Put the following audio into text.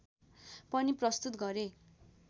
पनि प्रस्तुत गरे